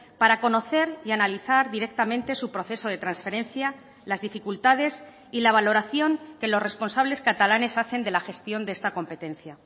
para conocer y analizar directamente su proceso de transferencia las dificultades y la valoración que los responsables catalanes hacen de la gestión de esta competencia